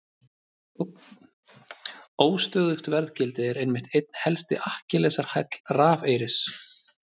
Óstöðugt verðgildi er einmitt einn helsti Akkilesarhæll rafeyris.